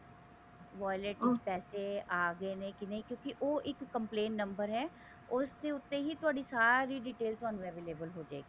wallet ਵਿੱਚ ਪੈਸੇ ਆਗੇ ਨੇ ਕਿਉਂਕੀ ਉਹ ਇੱਕ complaint number ਹੈ ਉਸ ਦੇ ਉੱਤੇ ਹੀ ਤੁਹਾਡੀ ਸਾਰੀ detail ਤੁਹਾਨੂੰ available ਹੋਜੇਗੀ